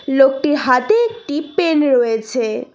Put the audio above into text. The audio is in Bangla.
লোকটির হাতে একটি পেন রয়েছে।